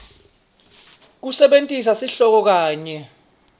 kusebentisa sihloko kanye